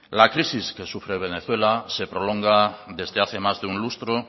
la crisis que sufre venezuela se prolonga desde hace más de lustro